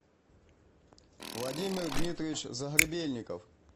владимир дмитриевич загребельников